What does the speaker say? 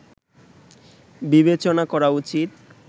বিবেচনা করা উচিত